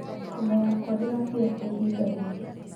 Homa yakwa ndĩrathira kwa ihida rĩrĩ